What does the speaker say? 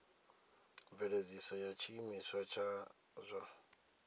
mveledziso ya tshiimiswa tsha zwa